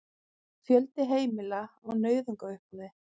Fjöldi heimila á nauðungaruppboði